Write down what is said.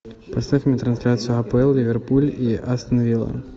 поставь мне трансляцию апл ливерпуль и астон вилла